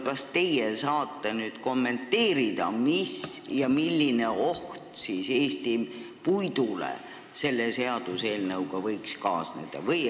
Kas te saate kommenteerida, milline oht Eesti puidule selle seadusmuudatusega võiks kaasneda?